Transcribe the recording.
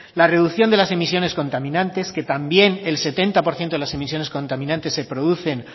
la reducción de las emisiones contaminantes que también el setenta por ciento de las emisiones contaminantes se producen